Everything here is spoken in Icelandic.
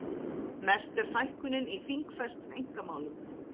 Mest er fækkunin í þingfestum einkamálum